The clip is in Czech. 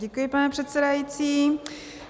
Děkuji, pane předsedající.